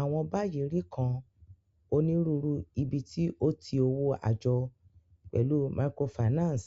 Awọn bayi ri kan Oniruuru ibiti o ti owo ajo, pẹlu microfinance